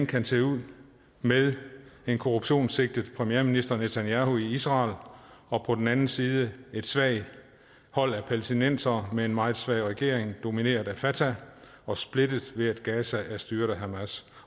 kan se ud med en korruptionssigtet premierminister netanyahu i israel og på den anden side et svagt hold af palæstinensere med en meget svag regering domineret af fatah og splittet ved at gaza er styret af hamas